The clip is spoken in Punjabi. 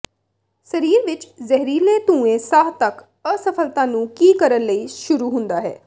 ਸਰੀਰ ਵੀ ਜ਼ਹਿਰੀਲੇ ਧੂੰਏ ਸਾਹ ਤੱਕ ਅਸਫਲਤਾ ਨੂੰ ਕੀ ਕਰਨ ਲਈ ਸ਼ੁਰੂ ਹੁੰਦਾ ਹੈ